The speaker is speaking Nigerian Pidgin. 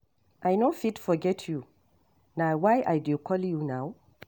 I no fit forget you, na why I dey call you now.